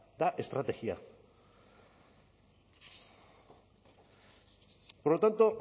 eta estrategia por lo tanto